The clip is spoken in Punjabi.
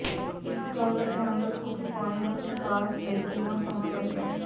ਇਸ ਗੱਲ ਦਾ ਧਿਆਨ ਰੱਖੋ ਕਿ ਪਾਣੀ ਨੂੰ ਨਿਕਾਸ ਲਈ ਕਿੰਨਾ ਸਮਾਂ ਲੱਗਦਾ ਹੈ